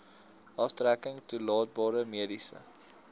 aftrekking toelaatbare mediese